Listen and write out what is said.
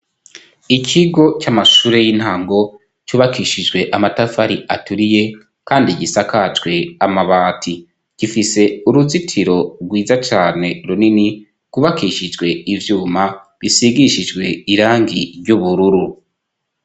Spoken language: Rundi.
Ikigo c'amashure y'intango, cubakishijwe amatafari aturiye, kandi gisakajwe amabati. Gifise uruzitiro rwiza cane runini rwubakishijwe ivyuma bisigishijwe irangi ry'ubururu.